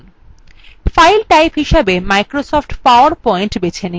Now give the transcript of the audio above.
file type হিসাবে microsoft powerpoint বেছে নিন